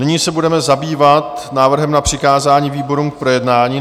Nyní se budeme zabývat návrhem na přikázání výborům k projednání.